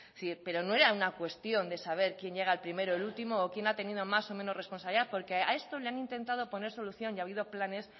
pero no era una cuestión de saber quién llega el primero o el último o quién ha tenido más o menos responsabilidad porque a esto le han intentado poner solución y ha habido planes